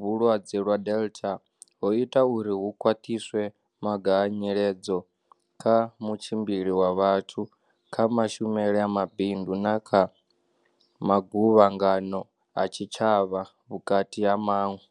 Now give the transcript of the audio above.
vhulwadze lwa Delta ho ita uri hu khwaṱhiswe maga a nyiledzo kha mutshimbili wa vhathu, kha mashumele a mabindu na kha maguvhangano a tshitshavha, vhukati ha maṅwe.